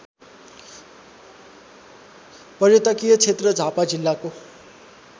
पर्यटकीयक्षेत्र झापा जिल्लाको